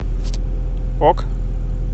ок